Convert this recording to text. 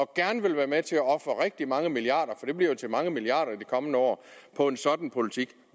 gerne være med til at ofre rigtig mange milliarder det bliver jo til mange milliarder i de kommende år på en sådan politik